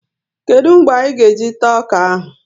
Kedụ mgbe anyị ga e jị taa ọkà áhù?